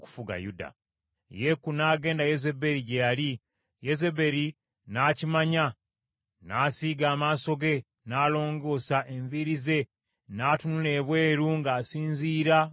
Yeeku n’agenda Yezeberi gye yali, Yezeberi n’akimanya, n’asiiga amaaso ge, n’alongoosa enviiri ze, n’atunula ebweru ng’asinziira mu ddirisa.